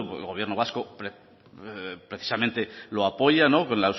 el gobierno vasco precisamente lo apoya la